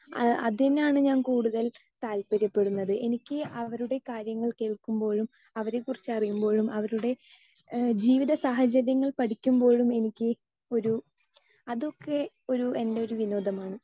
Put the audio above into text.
Speaker 2 അതിനാണ് ഞാൻ കൂടുതൽ താൽപര്യപ്പെടുന്നത്. എനിക്ക് അവരുടെ കാര്യങ്ങൾ കേൾക്കുമ്പോഴും അവരെക്കുറിച്ച് അറിയുമ്പോഴും അവരുടെ ജീവിതസാഹചര്യങ്ങൾ പഠിക്കുമ്പോഴും എനിക്ക് ഒരു അതൊക്കെ ഒരു എൻറെ ഒരു വിനോദമാണ്.